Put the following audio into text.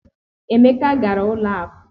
Emeka gara ụlọ akụ.